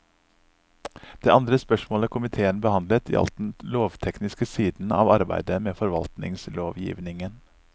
Det andre spørsmålet komiteen behandlet, gjaldt den lovtekniske siden av arbeidet med forvaltningslovgivningen.